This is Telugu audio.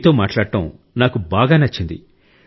మీతో మాట్లాడటం నాకు బాగా నచ్చింది